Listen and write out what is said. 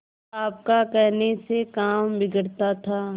आपका कहने से काम बिगड़ता था